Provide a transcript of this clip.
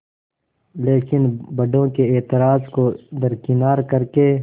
लेकिन बड़ों के ऐतराज़ को दरकिनार कर के